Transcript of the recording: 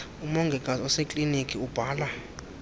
umongikazi osekliniki ubhala